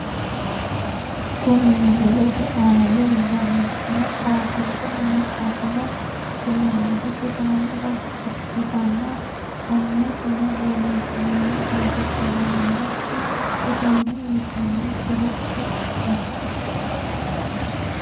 Kuni misilete aana leellanni noohu maxaafaho kuni maxaafino kulannohu sidaamu daga ikkitanna , aanasino borreessinoonni borro kulloonnikki sidaama yitanno tiro afidhinote.